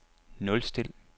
nulstil